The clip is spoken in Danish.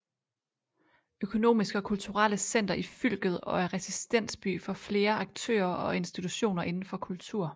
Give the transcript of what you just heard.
Økonomiske og kulturelle center i fylket og er residensby for flere aktører og institutioner inden for kultur